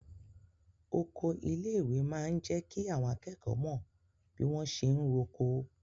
Oko ilé ìwé máa n jẹ kí àwọn akẹ́kọ̀ọ́ mọ bi wọn ṣe n r'oko.